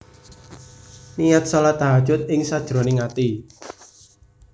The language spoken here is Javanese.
Niat shalat Tahajjud ing sajroning ati